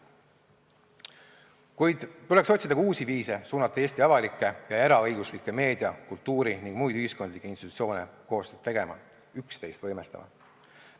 Kuid tuleks otsida ka uusi viise, kuidas suunata Eesti avalikke ja eraõiguslikke meedia-, kultuuri- ning muid ühiskondlikke institutsioone koostööd tegema, üksteist võimestama.